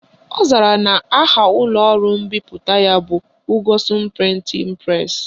Ọ zara na aha ụlọọrụ mbipụta ya bụ Ugwuson Printing Press